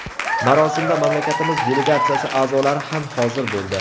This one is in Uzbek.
Marosimda mamlakatimiz delegatsiyasi a’zolari ham hozir bo‘ldi.